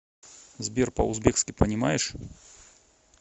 сбер по узбекски понимаешь